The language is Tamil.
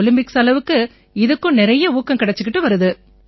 ஒலிம்பிக்ஸ் அளவுக்கு இதுக்கும் நிறைய ஊக்கம் கிடைச்சுக்கிட்டு வருது